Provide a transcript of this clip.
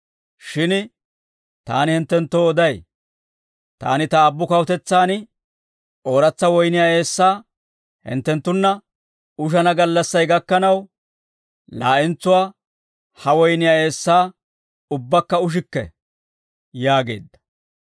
Shin taani hinttenttoo oday; taani ta Aabbu kawutetsaan ooratsa woyniyaa eessaa hinttenttunna ushana gallassay gakkanaw, laa'entsuwaa ha woyniyaa eessaa ubbakka ushikke» yaageedda.